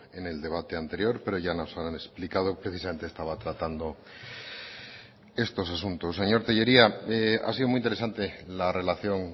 en el debate anterior pero ya nos han explicado precisamente estaba tratando estos asuntos señor tellería ha sido muy interesante la relación